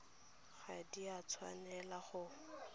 ga di a tshwanela go